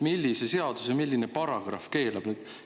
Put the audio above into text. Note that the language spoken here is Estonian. Millise seaduse milline paragrahv seda keelab?